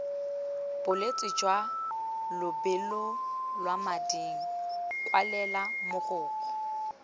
bolwetse jwa lebolelamading kwalela mogokgo